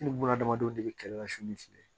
Ni buna adamadenw de bɛ kɛlɛ la sun ni fili